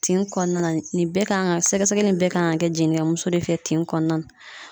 Tin kɔnɔna na nin bɛɛ kan ga sɛgɛsɛgɛli in bɛɛ kan ga kɛ jinnikɛmuso de fɛ tin kɔnɔna na